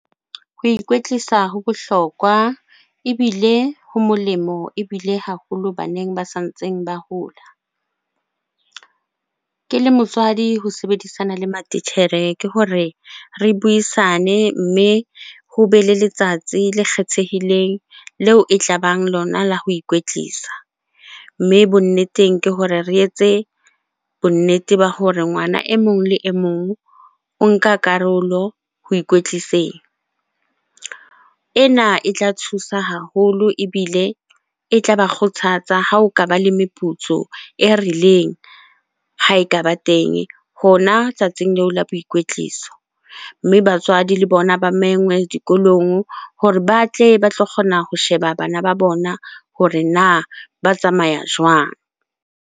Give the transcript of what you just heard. Ho ikwetlisa ho bohlokwa ebile ho molemo ebile haholo baneng ba sa ntseng ba hola. Ke le motswadi ho sebedisana le matitjhere ke hore re buisane mme hobe le letsatsi le kgethehileng leo e tlabang lona la ho ikwetlisa. Mme bonneteng ke hore re etse bonnete ba hore ngwana e mong le e mong o nka karolo ho ikwetliseng. Ena e tla thusa haholo ebile e tlaba kgothatsa ha o kaba le meputso e rileng ha e kaba teng hona tsatsi leo la boikwetliso. Mme batswadi le bona ba mengwe dikolong hore ba tle ba tlo kgona ho sheba bana ba bona hore na ba tsamaya jwang?